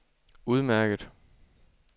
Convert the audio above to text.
udmærket